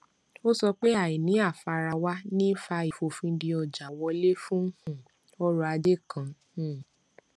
ó sọ pé àìní àfarawà ní fa ìfòfinde ọjà wọlé fún um ọrọ ajé kan um